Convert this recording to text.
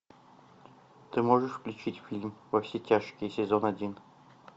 ты можешь включить фильм во все тяжкие сезон один